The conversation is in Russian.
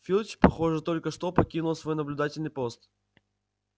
филч похоже только что покинул свой наблюдательный пост